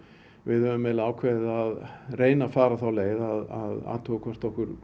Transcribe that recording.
við höfum ákveðið að reyna að fara þá leið að athuga hvort okkur